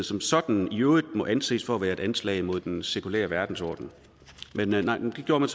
som sådan i øvrigt må anses for at være et anslag imod den sekulære verdensorden men nej det gjorde man